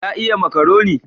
Ya iya makaroni?